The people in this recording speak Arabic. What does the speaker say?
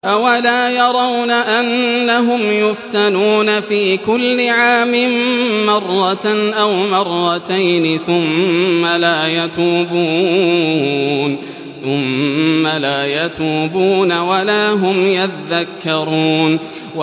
أَوَلَا يَرَوْنَ أَنَّهُمْ يُفْتَنُونَ فِي كُلِّ عَامٍ مَّرَّةً أَوْ مَرَّتَيْنِ ثُمَّ لَا يَتُوبُونَ وَلَا هُمْ يَذَّكَّرُونَ